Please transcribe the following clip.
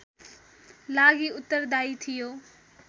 लागि उत्तरदायी थियो